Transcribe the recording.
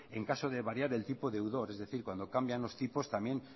en caso de variar el tipo deudor es decir cuando cambian los tipos también